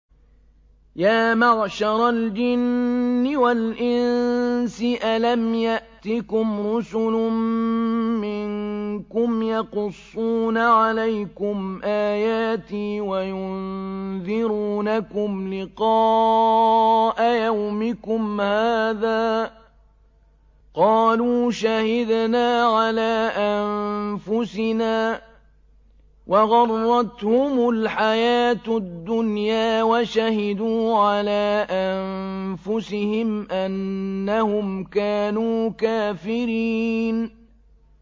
يَا مَعْشَرَ الْجِنِّ وَالْإِنسِ أَلَمْ يَأْتِكُمْ رُسُلٌ مِّنكُمْ يَقُصُّونَ عَلَيْكُمْ آيَاتِي وَيُنذِرُونَكُمْ لِقَاءَ يَوْمِكُمْ هَٰذَا ۚ قَالُوا شَهِدْنَا عَلَىٰ أَنفُسِنَا ۖ وَغَرَّتْهُمُ الْحَيَاةُ الدُّنْيَا وَشَهِدُوا عَلَىٰ أَنفُسِهِمْ أَنَّهُمْ كَانُوا كَافِرِينَ